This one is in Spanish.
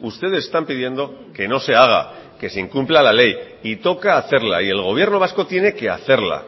ustedes están pidiendo que no se haga que se incumpla la ley y toca hacerla y el gobierno vasco tiene que hacerla